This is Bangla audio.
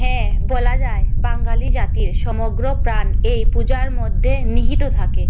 হ্যাঁ বলা যায় বাঙালি জাতির সমগ্র প্রাণ এই পূজার মধ্যে নিহিত থাকে